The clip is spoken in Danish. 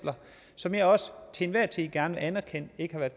som jeg også til enhver tid gerne vil anerkende ikke har været